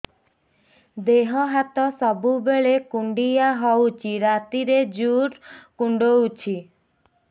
ଦେହ ହାତ ସବୁବେଳେ କୁଣ୍ଡିଆ ହଉଚି ରାତିରେ ଜୁର୍ କୁଣ୍ଡଉଚି